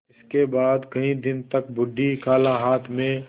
इसके बाद कई दिन तक बूढ़ी खाला हाथ में